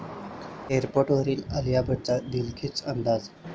एअरपोर्टवर आलिया भटचा दिलखेच अंदाज!